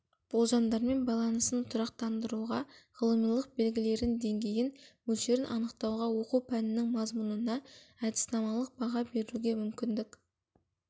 болжамдармен байланысын тұрақтандыруға ғылымилық белгілерін деңгейін мөлшерін анықтауға оқу пәнінің мазмұнына әдіснамалық баға беруге мүмкіндік